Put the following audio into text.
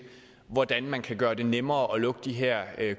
hvordan man kan gøre det nemmere at lukke de her